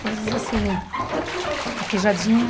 Coisas assim, a queijadinha.